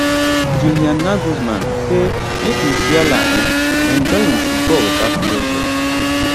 julian nagglesman say make musiala um enjoy im football witout pressure